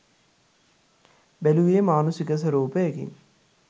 බැලුවේ මානුෂික ස්වරූපයකින්